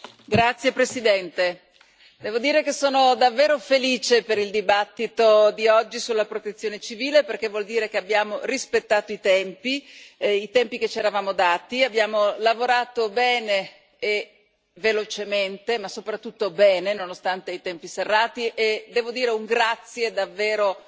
Signor Presidente, onorevoli colleghi, devo dire che sono davvero felice per il dibattito di oggi sulla Protezione civile perché vuol dire che abbiamo rispettato i tempi e i tempi che ci eravamo dati. Abbiamo lavorato bene e velocemente, ma soprattutto bene nonostante i tempi serrati e devo dire un grazie davvero